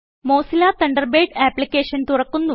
Mozilla Thunderbird application തുറക്കുന്നു